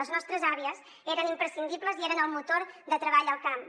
les nostres àvies eren imprescindibles i eren el motor de treball al camp